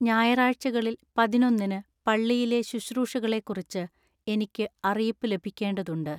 ഞായറാഴ്ചകളിൽ പതിനൊന്നിന് പള്ളിയിലെ ശുശ്രൂഷകളെക്കുറിച്ച് എനിക്ക് അറിയിപ്പ് ലഭിക്കേണ്ടതുണ്ട്